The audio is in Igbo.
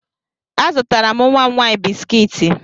Azụtara m nwa m nwaanyị biskiiti.